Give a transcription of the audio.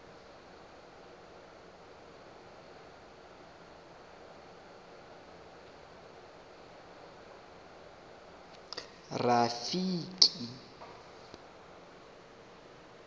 rafiki